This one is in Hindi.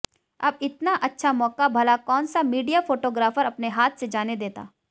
अब इतना अच्छा मौका भला कौनसा मीडिया फोटोग्राफर अपने हाथ से जाने देता